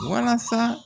Walasa